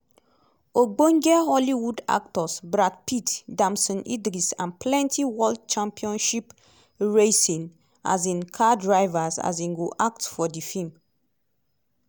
ogbonge hollywood actors brad pitt damson idris and plenti world championship racing um car drivers um go act for di feem.